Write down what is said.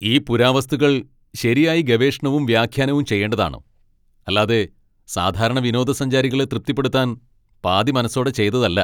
ഈ പുരാവസ്തുക്കൾ ശരിയായി ഗവേഷണവും വ്യാഖ്യാനവും ചെയ്യേണ്ടതാണ്. അല്ലാതെ സാധാരണ വിനോദസഞ്ചാരികളെ തൃപ്തിപ്പെടുത്താൻ പാതിമനസ്സോടെ ചെയ്തതല്ലാ.